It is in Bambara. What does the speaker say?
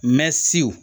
Mɛ siw